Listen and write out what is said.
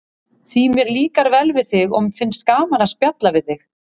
Því mér líkar vel við þig og finnst gaman að spjalla við þig.